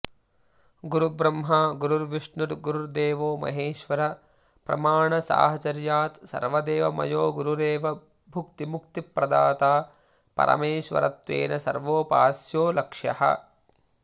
गुरु ब्रह्मा गुरु विष्णुर्गुरुदेवो महेश्वरप्रमाणसाहचर्यात् सर्वदेवमयो गुरुरेव भुक्तिमुक्तिप्रदाता परमेश्वरत्वेन सर्वोपास्यो लक्ष्यः